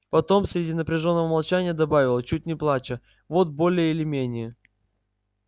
потом среди напряжённого молчания добавила чуть не плача вот более или менее